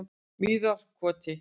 Mýrarkoti